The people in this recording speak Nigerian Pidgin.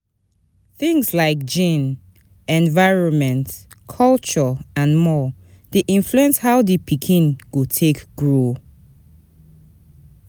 Things like gene, environment, culture and more de influence how di pikin go take grow